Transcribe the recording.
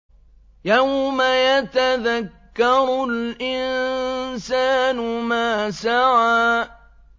يَوْمَ يَتَذَكَّرُ الْإِنسَانُ مَا سَعَىٰ